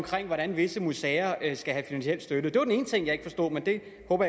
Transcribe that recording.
hvordan visse museer skal have finansiel støtte det var den ene ting jeg ikke forstod men det håber